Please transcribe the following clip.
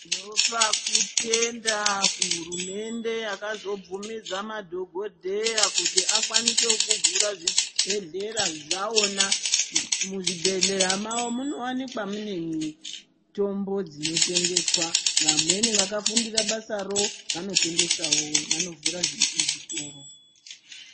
Tinopa kutenda kuhurumende yakazobvumidza madhokodheya kuti akwanise kuvhura zvibhedhlera zvavona muzvibhedhlera mavo munowanikwa mune mitombo dzinotengeswa vamweni vakafundira basaro vanotengesawo vanovhura zvitoro.